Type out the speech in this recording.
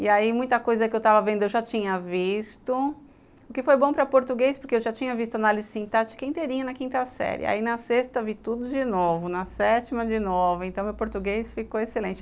E aí muita coisa que eu estava vendo eu já tinha visto, o que foi bom para português porque eu já tinha visto análise sintática inteirinha na quinta série, aí na sexta vi tudo de novo, na sétima de novo, então o português ficou excelente.